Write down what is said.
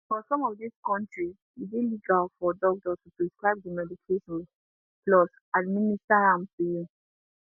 for some of dis kontris e dey legal for doctor to prescribe di medication plus administer am to you